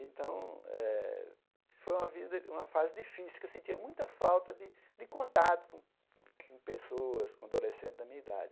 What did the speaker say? Então eh, foi uma vida uma fase difícil, que eu sentia muita falta de de contato com pessoas, com adolescentes da minha idade.